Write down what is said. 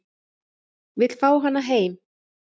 Vill fá hana heim